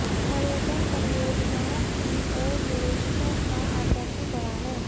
पर्यटन परियोजनाओं की ओर निवेशकों का आकर्षण बढ़ा है